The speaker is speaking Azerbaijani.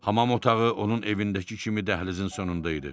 Hamam otağı onun evindəki kimi dəhlizin sonunda idi.